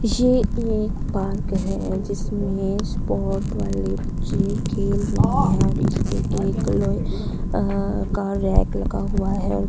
ये एक पार्क है जिसमें स्पोर्ट वाले बच्चे खेल रहे हैं और इसपे एक लोहे अहह का रैक लगा हुआ है।